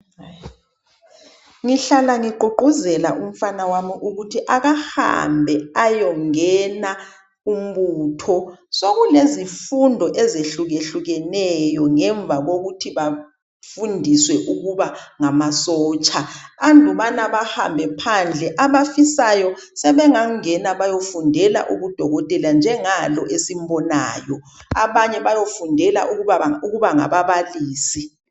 Ngihlala ngigqugquzela umfana wami ukuthi akahambe ayongena kumbutho. Sekulezifundo ezihlukehlukeneyo ngemva kokuthi bafundiswe ukuba ngamasotsha. Andubana bahambe phandle abafisayo sebengangena bayefundela ubudokotela njengalo esimbonayo abanye bayofundela ukuba ngababalisi.